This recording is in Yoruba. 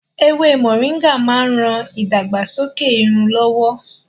Ewé Moringa máa ń ran ìdàgbàsókè irun lọ́wọ́